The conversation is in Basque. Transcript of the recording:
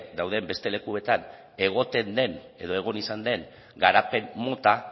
dauden beste lekuetan egoten den edo egon izan den garapen mota